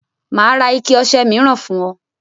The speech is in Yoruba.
Mà á ra ike ọṣẹ míràn fún ọ.